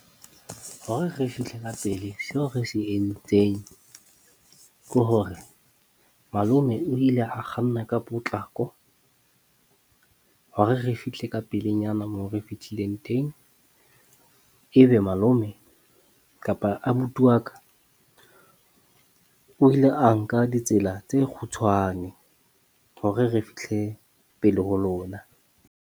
Hore re fihle ka pele, seo re se entseng ke hore malome o ile a kganna ka potlako hore re fihle ka pelenyana moo re fetileng teng. Ebe malome kapa abuti wa ka, o ile a nka ditsela tse kgutshwane hore re fihle pele ho lona.